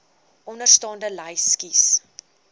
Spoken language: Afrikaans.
onderstaande lys kies